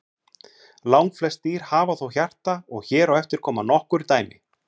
langflest dýr hafa þó hjarta og hér á eftir koma nokkur dæmi